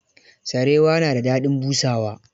Sarewa na da daɗin busawa.